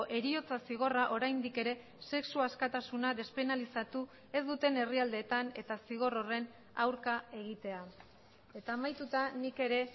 heriotza zigorra oraindik ere sexu askatasuna despenalizatu ez duten herrialdeetan eta zigor horren aurka egitea eta amaituta nik ere